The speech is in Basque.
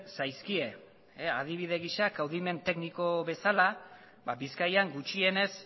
zaizkie adibide gisa kaudimen tekniko bezala bizkaian gutxienez